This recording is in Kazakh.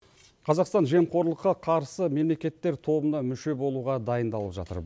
қазақстан жемқорлыққа қарсы мемлекеттер тобына мүше болуға дайындалып жатыр